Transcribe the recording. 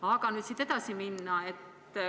Aga läheme edasi.